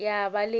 ya ba le yena o